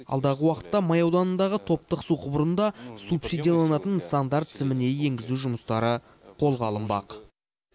алдағы уақытта май ауданындағы топтық су құбырын да субсидияланатын нысандар тізіміне енгізу жұмыстары қолға алынбақ